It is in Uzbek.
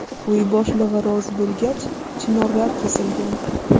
Uy boshlig‘i rozi bo‘lgach, chinorlar kesilgan.